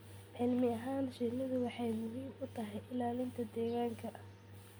Cilmi ahaan, shinnidu waxay muhiim u tahay ilaalinta deegaanka.